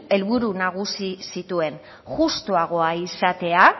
helburu nagusi zituen justuagoa izatea